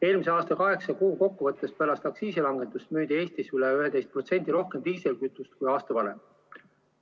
Eelmise aasta kaheksa kuu kokkuvõttes pärast aktsiisi langetamist müüdi Eestis umbes 11% rohkem diislikütust kui aasta varem.